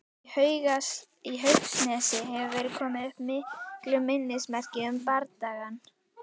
Í Haugsnesi hefur verið komið upp miklu minnismerki um bardagann.